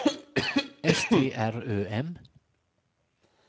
S T R Ö M